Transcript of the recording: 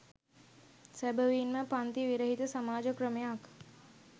සැබවින්ම පංති විරහිත සමාජ ක්‍රමයක්